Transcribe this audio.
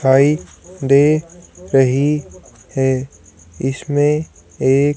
आई दे रही है इसमें एक--